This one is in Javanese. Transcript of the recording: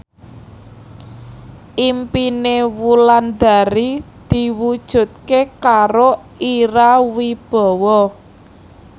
impine Wulandari diwujudke karo Ira Wibowo